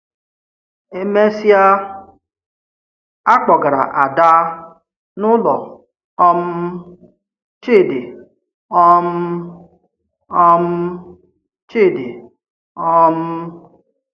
E mesịa, a kpọ̀gara Áda n’ụlọ um Chidị. um um Chidị. um